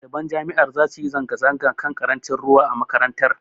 Ɗaliban jami'ar zasu yi zanga-zanga kan ƙarancin ruwa a makarantar.